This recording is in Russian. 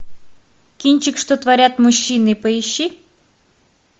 кинчик что творят мужчины поищи